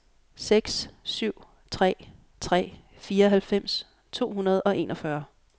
seks syv tre tre fireoghalvfems to hundrede og enogfyrre